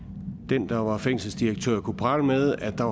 og den der var fængselsdirektør kunne prale med at der